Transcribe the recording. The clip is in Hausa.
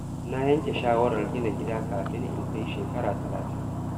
Na yanke shawarar gina gida kafin in kai shekara talatin.